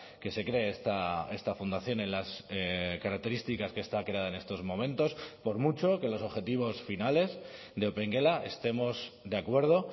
que se cree esta fundación en las características que está creada en estos momentos por mucho que los objetivos finales de opengela estemos de acuerdo